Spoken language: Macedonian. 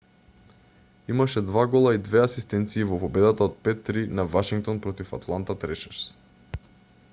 имаше 2 гола и 2 асистенции во победата од 5-3 на вашингтон против атланта трешерс